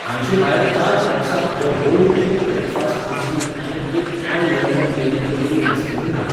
हांचे भायर चार बॉक्सां the whole truth breakfast muesli आनी एक आय लंडन डेरी कुल्फी आयसक्रीमूय घाल.